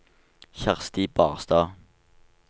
Kjersti Barstad